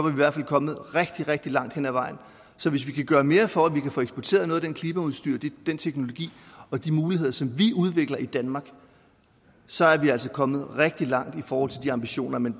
i hvert fald kommet rigtig rigtig langt hen ad vejen så hvis vi kan gøre mere for at få eksporteret noget af det klimaudstyr den teknologi og de muligheder som vi udvikler i danmark så er vi altså kommet rigtig langt i forhold til de ambitioner men